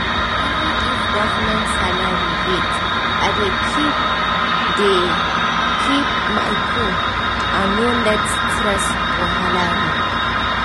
even if government salary late i dey keep dey keep my cool and no let stress wahala me